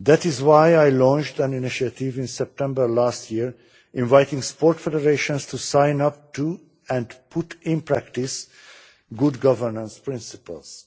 That is why I launched an initiative in September last year inviting sports federations to sign up to, and put in practice, good governance principles.